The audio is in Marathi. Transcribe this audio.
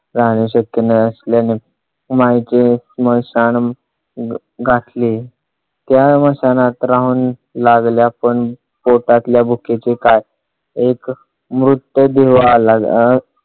राहणे शक्य नसल्याने माईने स्मशान घासले. त्या स्मशानातच राहू लागल्या. पण पोटातल्या भुकेचे काय? एक मृतदेह आला.